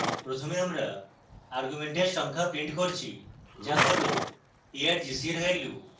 প্রথমে আমরা arguments সংখ্যা printing করছি যা হল argc এর value